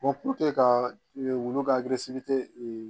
ka wulu ka